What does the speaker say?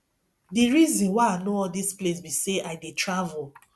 the reason why i know all dis place be say i dey travel